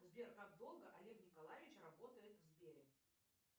сбер как долго олег николаевич работает в сбере